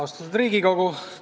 Austatud Riigikogu!